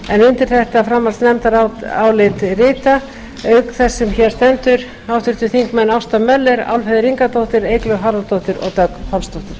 undir þetta framhaldsnefndarálit rita auk þess sem hér stendur háttvirtir þingmenn ásta möller álfheiður ingadóttir eygló harðardóttir og dögg pálsdóttir